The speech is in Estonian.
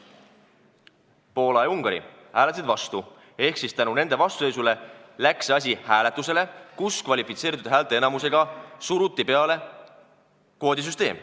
Poola ja Ungari hääletasid vastu, tänu nende vastuseisule läks see asi hääletusele, kus kvalifitseeritud häälteenamusega suruti peale kvoodisüsteem.